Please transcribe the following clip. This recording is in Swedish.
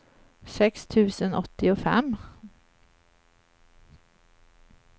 sex tusen åttiofem